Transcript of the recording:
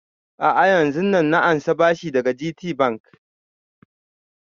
A'a yanzun nan na ansa bashi daga GTbank